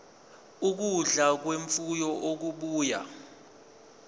ukudla kwemfuyo okubuya